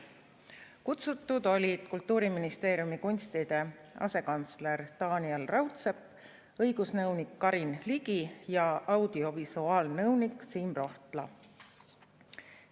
Kutsutud olid Kultuuriministeeriumi kunstide asekantsler Taaniel Raudsepp, õigusnõunik Karin Ligi ja audiovisuaalnõunik Siim Rohtla.